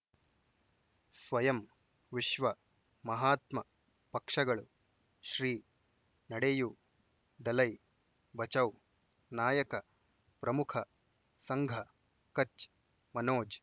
ಸ್ವಯಂ ವಿಶ್ವ ಮಹಾತ್ಮ ಪಕ್ಷಗಳು ಶ್ರೀ ನಡೆಯೂ ದಲೈ ಬಚೌ ನಾಯಕ ಪ್ರಮುಖ ಸಂಘ ಕಚ್ ಮನೋಜ್